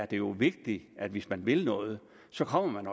det jo er vigtigt at hvis man vil noget så kommer man